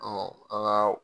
a' kaa